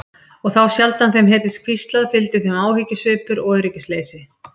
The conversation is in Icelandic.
Og þá sjaldan þeim heyrðist hvíslað fylgdi þeim áhyggjusvipur og öryggisleysi.